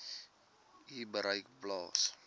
u bereik plaas